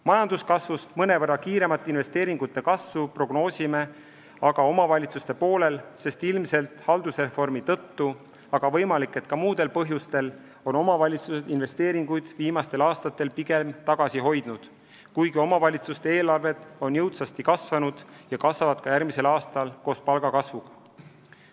Majanduskasvust mõnevõrra kiiremat investeeringute kasvu prognoosime aga omavalitsuste poolel, sest ilmselt haldusreformi tõttu, aga võimalik, et ka muudel põhjustel on omavalitsused investeeringuid viimastel aastatel pigem tagasi hoidnud, kuigi omavalitsuste eelarved on jõudsasti kasvanud ja kasvavad ka järgmisel aastal koos palkade kasvuga.